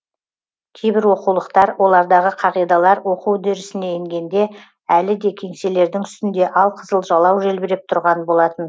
кейбір оқулықтар олардағы қағидалар оқу үдерісіне енгенде әлі де кеңселердің үстінде алқызыл жалау желбіреп тұрған болатын